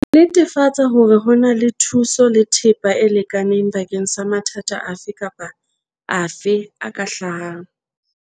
Netefatsa hore ho na le thuso le thepa e lekaneng bakeng sa mathata afe kapa afe a ka hlahang.